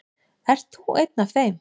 Ert þú einn af þeim?